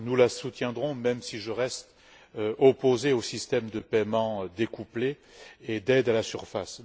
Nous la soutiendrons, même si je reste opposé au système de paiements découplés et d'aides à la surface.